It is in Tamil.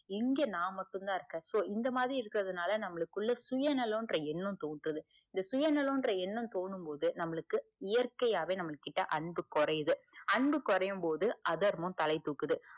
இங்க நா மட்டும் தான் இருக்க so இந்த மாதிரி இருக்குற நால நமக்குள்ள சுயநலம் ன்ற எண்ணம் தோன்றுது இந்த சுயநலம் எண்ணம் தோணும் போது நம்மளுக்கு இயற்கையாவே நம்மகிட்ட அன்பு கொறையுது அன்பு கொறையும் போது அதர்மம் தலை தூக்குது